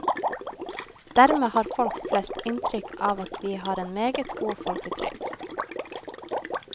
Dermed har folk flest inntrykk av at vi har en meget god folketrygd.